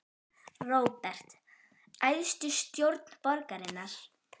Róbert: Æðstu stjórn borgarinnar?